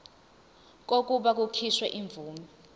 kokuba kukhishwe imvume